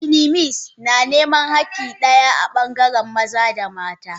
Feminist na niman hakki daya daya a bangaren maza da mata.